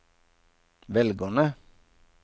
velgerne